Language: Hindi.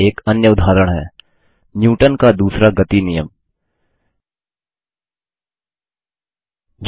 यहाँ एक अन्य उदाहरण है न्यूटन का दूसरा गति नियम Newton's second law of motion